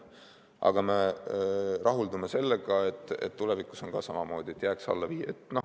Aga me rahuldume sellega, et tulevikus on ka samamoodi, et jääks alla 5.